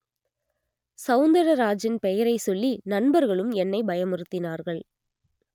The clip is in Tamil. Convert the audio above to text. சவுந்தரராஜன் பெயரை சொல்லி நண்பர்களும் என்னை பயமுறுத்தினார்கள்